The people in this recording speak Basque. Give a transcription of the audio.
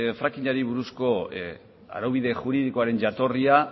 frackingari buruzko araubide juridikoaren jatorria